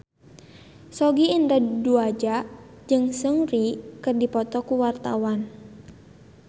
Sogi Indra Duaja jeung Seungri keur dipoto ku wartawan